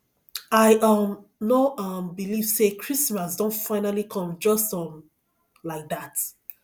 i um no um believe say christmas don finally come just um like dat